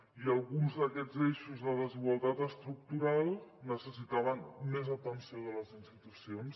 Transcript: i alguns d’aquests eixos de desigualtat estructural necessitaven més atenció de les institucions